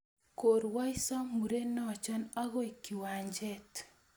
Korwaiso murenecho akoy kiwanjet